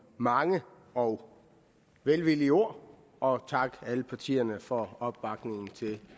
mange og velvillige ord og takke alle partierne for opbakningen til